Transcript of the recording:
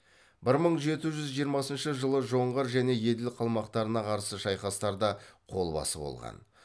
бір мың жеті жүз жиырмасыншы жылы жоңғар және еділ қалмақтарына қарсы шайқастарда қолбасы болған